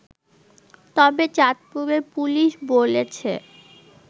তবে চাঁদপুরের পুলিশ বলেছে